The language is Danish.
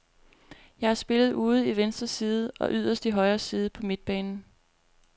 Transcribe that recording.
Jeg har spillet ude i venstre side og yderst i højre side på midtbanen.